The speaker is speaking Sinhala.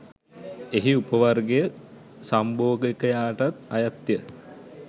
එහි උප වර්ගය සම්භෝගකායටත් අයත් ය.